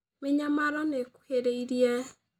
Mĩnyamaro nĩ ĩkuhĩrĩirie